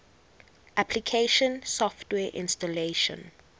application software installation